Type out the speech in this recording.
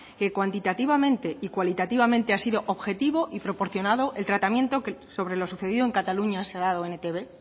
que cuantitativamente y cualitativamente ha sido objetivo y proporcionado el tratamiento que sobre lo sucedido en cataluña se ha dado en etb